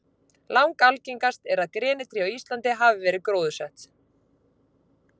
Langalgengast er að grenitré á Íslandi hafi verið gróðursett.